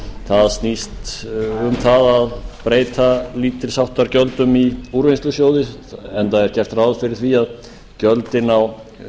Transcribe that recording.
það snýst um að breyta lítils háttar gjöldum í úrvinnslusjóði enda er gert ráð fyrir því að gjöldin á